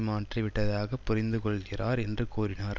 மாற்றி விட்டதாகப் புரிந்து கொள்கிறார் என்று கூறினார்